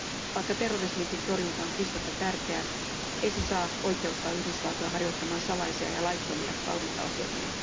Vaikka terrorismin torjunta on kiistatta tärkeää, se ei saa oikeuttaa Yhdysvaltoja harjoittamaan salaisia ja laittomia valvontaohjelmia.